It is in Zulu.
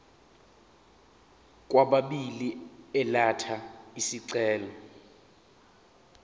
kwababili elatha isicelo